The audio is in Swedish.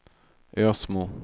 Ösmo